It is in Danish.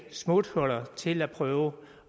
smuthuller til at prøve